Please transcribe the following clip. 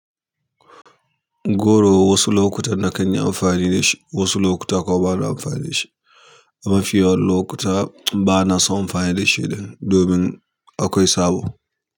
Goro wasu lokuta na kan yi amfani da shi, wasu lokuta kuwa bana amfani da shi. A mafi yawan lokuta bana son amfani da shi dan domin akwai sabo.